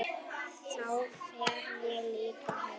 Þá fer ég líka heim